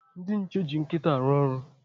Ndị nche eji nkịta arụ ọrụ.